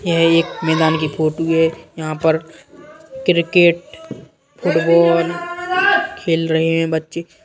यह एक मैदान की फोटो है| यहाँ पर क्रिकेट फुटबॉल खेल रहे हैं बच्चे--